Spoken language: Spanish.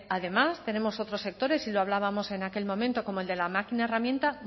además tenemos otros sectores y lo hablábamos en aquel momento como el de la máquina herramienta